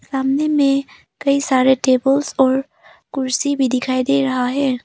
सामने में कई सारे टेबल्स और कुर्सी भी दिखाई दे रहा है।